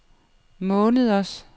måneders